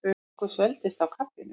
Okkur svelgdist á kaffinu.